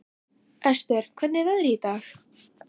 Esther, hvernig er veðrið í dag?